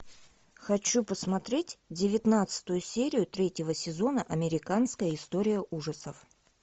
хочу посмотреть девятнадцатую серию третьего сезона американская история ужасов